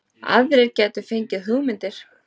Aðrir gætu fengið hugmyndir